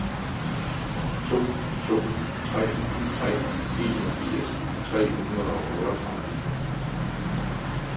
to to tre tre enogfirs tre hundrede og otteogtredive